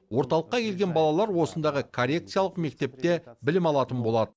орталыққа келген балалар осындағы коррекциялық мектепте білім алатын болады